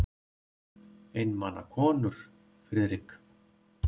Einmana konur, Friðrik.